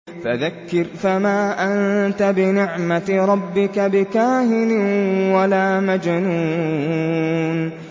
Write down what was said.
فَذَكِّرْ فَمَا أَنتَ بِنِعْمَتِ رَبِّكَ بِكَاهِنٍ وَلَا مَجْنُونٍ